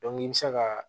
i bɛ se ka